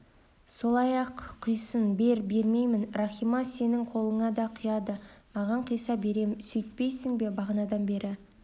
сол-ақ құйсын бер бермеймін рахима сенің қолыңа да құяды маған құйса берем сөйтпейсің бе бағанадан бері